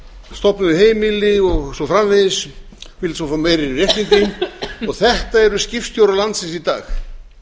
stofnuðu heimili og svo framvegis vildu svo fá meiri réttindi og þetta eru skipstjórar landsins í dag